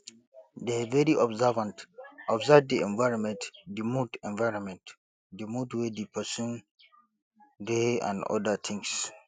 dey very observant observe di environment di mood environment di mood wey di person dey and oda things